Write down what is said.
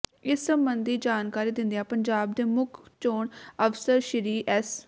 ਇਸ ਸਬੰਧੀ ਜਾਣਕਾਰੀ ਦਿੰਦਿਆਂ ਪੰਜਾਬ ਦੇ ਮੁੱਖ ਚੋਣ ਅਫਸਰ ਸ੍ਰੀ ਐਸ